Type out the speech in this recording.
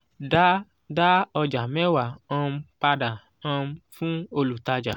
da da ọjà mẹwa um pada um fún olutaja